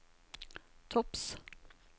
topps